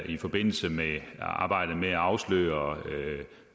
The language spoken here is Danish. i forbindelse med arbejdet derude med at afsløre